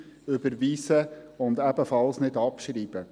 Überweisen und ebenfalls nicht abschreiben.